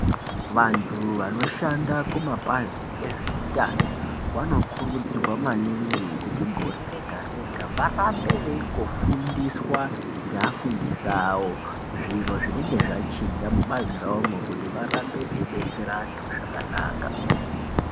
Vantu vanoshanda kumapazi ezveutano vanokurudzirwa maningi kuti gore rega-rega varambe veingofundiswa ngeafundisi avo. Zviro zvinonga zvachinja mubazi ravomwo kuti varambe veibetsera antu zvakanaka.